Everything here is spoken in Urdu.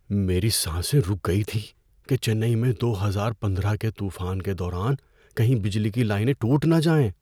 میری سانسیں رک گئی تھیں کہ چنئی میں دو ہزار پندرہ کے طوفان کے دوران کہیں بجلی کی لائنیں ٹوٹ نہ جائیں۔